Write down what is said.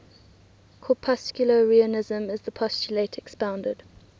corpuscularianism is the postulate expounded